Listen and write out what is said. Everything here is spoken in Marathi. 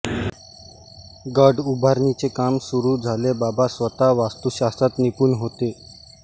गड उभारणीचे काम सुरू झाले बाबा स्वतः वास्तुशास्त्रात निपुण होते